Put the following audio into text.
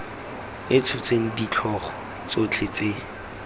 e tshotseng ditlhogo tsotlhe tse